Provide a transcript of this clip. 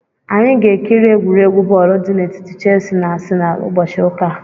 Anyị ga-ekiri egwuregwu bọọlụ dị n'etiti Chelsi na Asịnalụ ụbọchị ụka a.